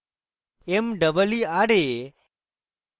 meera